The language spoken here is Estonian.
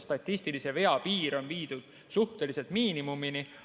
Statistilise vea piir on viidud suhteliselt miinimumini.